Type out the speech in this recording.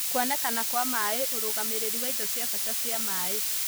Kuonekana kwa maĩ: ũrũgamĩrĩri wa indo cia bata cia maĩ